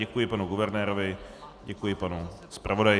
Děkuji panu guvernérovi, děkuji panu zpravodaji.